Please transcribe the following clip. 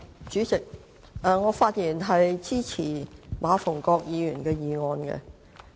主席，我發言支持馬逢國議員的議案。